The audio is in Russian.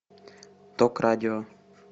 ток радио